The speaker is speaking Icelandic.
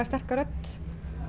sterka rödd